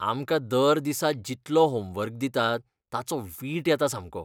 आमकां दर दिसा जितलो होमवर्क दितात, ताचो वीट येता सामको.